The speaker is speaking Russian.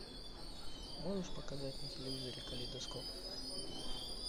можешь показать на телевизоре калейдоскоп